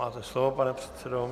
Máte slovo, pane předsedo.